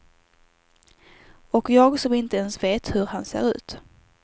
Och jag som inte ens vet hur han ser ut.